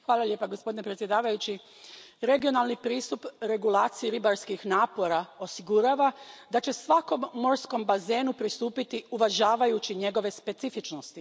Poštovani predsjedavajući, regionalni pristup regulaciji ribarskih napora osigurava da će se svakom morskom bazenu pristupiti uvažavajući njegove specifičnosti.